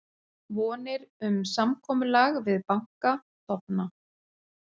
Vonir um samkomulag við banka dofna